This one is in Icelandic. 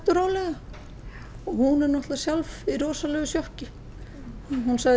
og rólega og hún er náttlega sjálf í rosalegu sjokki hún sagði